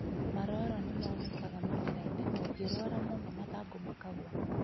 Maroro nĩmonekaga mũmerainĩ no ũngĩrwara mũno mathangũ makagwa